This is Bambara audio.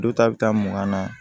Don ta bɛ taa mugan na